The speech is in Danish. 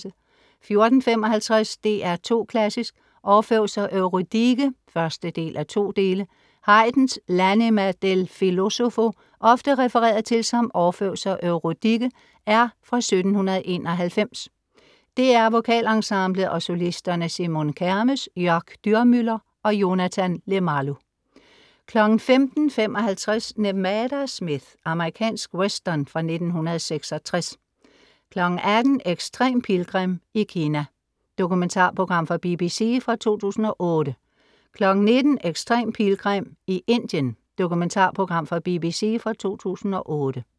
14:55 DR2 Klassisk: Orfeus og Eurydike 1:2 Haydns L'Anima del Filosofo, ofte refereret til som Orfeus og Eurydike, er fra 1791. DR VokalEnsemblet og solisterne Simone Kermes, Jörg Dürmüller og Jonathan Lemalu 15:55 Nevada Smith. Amerikansk western fra 1966 18:00 Extrem Pilgrim i Kina. Dokumentarprogram fra BBC fra 2008 19:00 Extrem pilgrim i Indien. Dokumentarprogram fra BBC fra 2008)